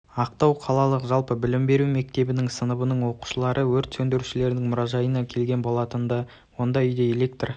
ақтау қалалық жалпы білім беру мектебінің сыныбының оқушылары өрт сөндірушілердің мұражайына келген болатынды онда үйде электр